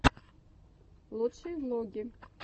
лучшие влоги